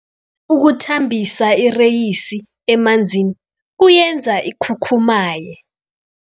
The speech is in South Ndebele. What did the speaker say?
Ukuthambisa ireyisi emanzini kuyenza ikhukhumaye.